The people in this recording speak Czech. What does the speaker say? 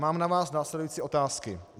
Mám na vás následující otázky: